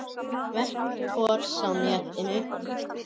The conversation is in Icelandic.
Verk Thors á netinu